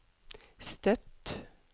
Støtt